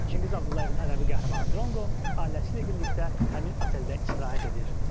Çingiz Abdullayevin ədəbi qəhrəmanı Dronqo ailəsi ilə birlikdə həmin oteldə istirahət edir.